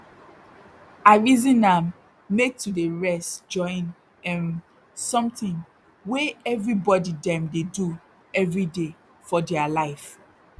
i reason am make to dey rest join erm something wey everybody dem dey do everyday for dere life